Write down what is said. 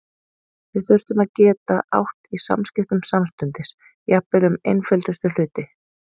Við þurftum að geta átt í samskiptum samstundis, jafnvel um einföldustu hluti.